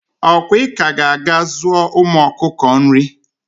okwa I ka ga aga zuo ụmu ọkụkọ nri